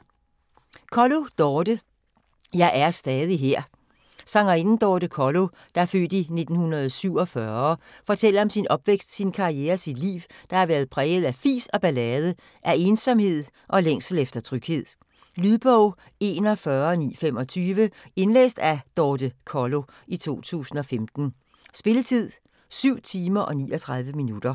Kollo, Dorthe: Jeg er stadig her Sangerinden Dorthe Kollo (f. 1947) fortæller om sin opvækst, sin karriere og sit liv, der har været præget af fis og ballade - af ensomhed og længsel efter tryghed. Lydbog 41925 Indlæst af Dorthe Kollo, 2015. Spilletid: 7 timer, 39 minutter.